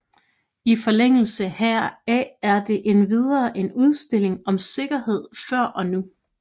I forlængelse heraf er der endvidere en udstilling om sikkerhed før og nu